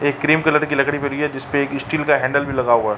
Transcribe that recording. एक cream colour की लकड़ी पड़ी है जिसपे एक स्टील का हैंडल भी लगा हुआ है। .